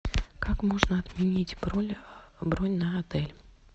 как можно отменить бронь на отель